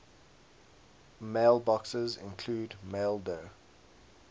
mailboxes include maildir